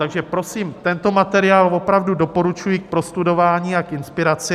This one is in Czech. Takže prosím, tento materiál opravdu doporučuji k prostudování a k inspiraci.